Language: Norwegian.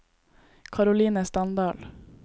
Karoline Standal